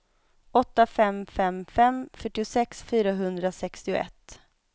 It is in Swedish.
åtta fem fem fem fyrtiosex fyrahundrasextioett